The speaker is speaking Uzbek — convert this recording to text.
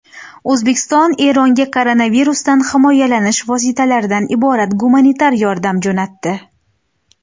O‘zbekiston Eronga koronavirusdan himoyalanish vositalaridan iborat gumanitar yordam jo‘natdi.